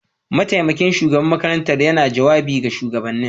Mataimakin shugaban makarantar yana jawabi ga shugabannin.